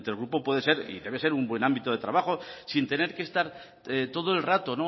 intergrupo puede ser y debe un buen ámbito de trabajo sin tener que estar todo el rato